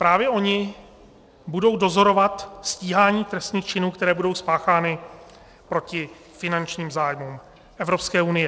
Právě oni budou dozorovat stíhání trestných činů, které budou spáchány proti finančním zájmům Evropské unie.